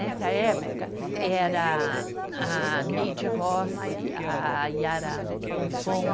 Nessa época, era a Neide Rossi, a Yara Fonfon,